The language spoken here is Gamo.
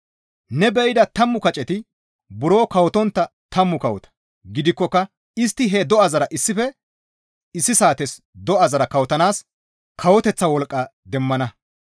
«Ne be7ida tammu kaceti buro kawotontta tammu kawota; gidikkoka istti he do7azara issife issi saates do7azara kawotanaas kawoteththa wolqqa demmana.